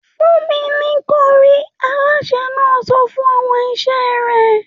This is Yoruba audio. ‘Fún mi ní ko̩rí!’, alásè náà so̩ fún o̩mo̩ is̩é̩ rè̩